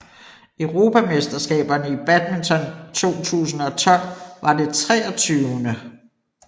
Europamesterskaberne i badminton 2012 var det 23